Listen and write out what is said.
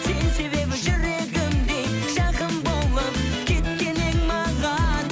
сен себебі жүрегімде жақын болып кеткен едің маған